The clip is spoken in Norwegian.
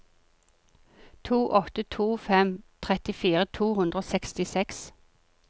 to åtte to fem trettifire to hundre og sekstiseks